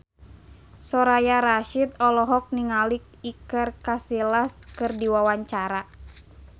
Soraya Rasyid olohok ningali Iker Casillas keur diwawancara